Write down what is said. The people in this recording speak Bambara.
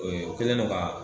Ee u Kɛlen no kaa